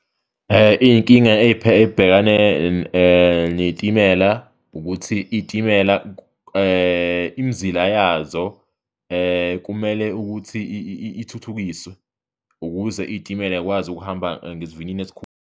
Iy'nkinga ey'bhekane ney'timela ukuthi iy'timela imizila yazo kumele ukuthi ithuthukiswe ukuze iy'timela zikwazi ukuhamba ngesivinini .